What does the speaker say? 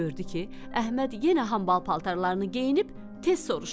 Gördü ki, Əhməd yenə hambal paltarlarını geyinib, tez soruşdu.